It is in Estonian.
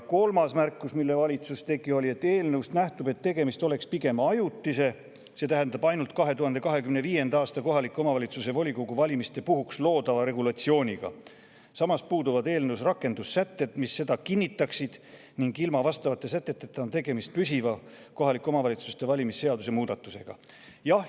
Kolmas märkus, mille valitsus tegi, oli see, et eelnõust nähtub, nagu tegemist oleks pigem ajutise, see tähendab ainult 2025. aasta kohalike omavalitsuste volikogude valimiste puhuks loodava regulatsiooniga, samas puuduvad eelnõus rakendussätted, mis seda kinnitaksid, ning ilma vastavate säteteta on tegemist kohaliku omavalitsuse valimise seaduse püsiva muudatusega.